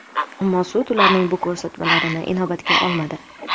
Ammo sud ularning bu ko‘rsatmasini inobatga olmadi.